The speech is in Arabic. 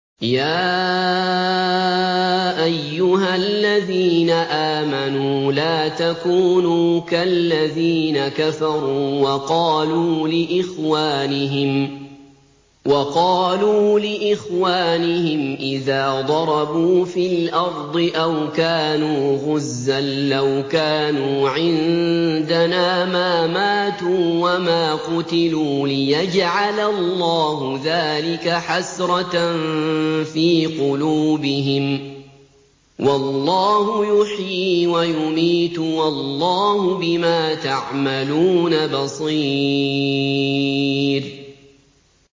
يَا أَيُّهَا الَّذِينَ آمَنُوا لَا تَكُونُوا كَالَّذِينَ كَفَرُوا وَقَالُوا لِإِخْوَانِهِمْ إِذَا ضَرَبُوا فِي الْأَرْضِ أَوْ كَانُوا غُزًّى لَّوْ كَانُوا عِندَنَا مَا مَاتُوا وَمَا قُتِلُوا لِيَجْعَلَ اللَّهُ ذَٰلِكَ حَسْرَةً فِي قُلُوبِهِمْ ۗ وَاللَّهُ يُحْيِي وَيُمِيتُ ۗ وَاللَّهُ بِمَا تَعْمَلُونَ بَصِيرٌ